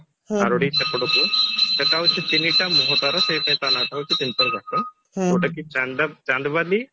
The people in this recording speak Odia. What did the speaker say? ଆରଡି ସେପଟକୁ ସେଇଟା ହଉଛି ତିନିଟା ମୁହଁ ତାର ସେଇ type ର ନାଁ ଟା ହଉଛି ଘାଟ ଯଉଟା କି ଚାନ୍ଦ ଚାନ୍ଦବାଲି